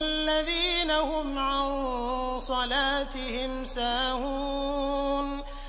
الَّذِينَ هُمْ عَن صَلَاتِهِمْ سَاهُونَ